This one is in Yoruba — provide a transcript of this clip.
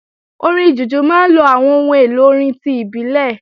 Orin Jùjú máa ń lo àwọn ohun èlò orin ti ìbílẹ̀